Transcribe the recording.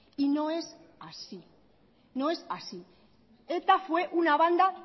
y no es así eta fue una banda